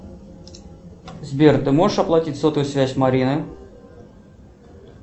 сбер ты можешь оплатить сотовую связь марины